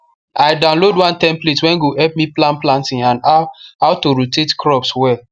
i download one template wey go help me plan planting and how how to rotate crops well